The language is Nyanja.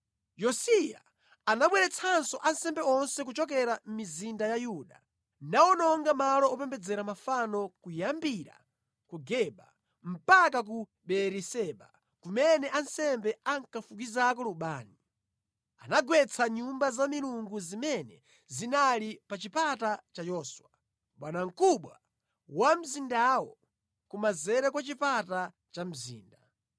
Yosiya anabweretsanso ansembe onse kuchokera mʼmizinda ya Yuda, nawononga malo opembedzera mafano, kuyambira ku Geba mpaka ku Beeriseba, kumene ansembe ankafukizako lubani. Anagwetsa nyumba za milungu zimene zinali pa chipata cha Yoswa, bwanamkubwa wa mzindawo, kumanzere kwa chipata cha mzinda.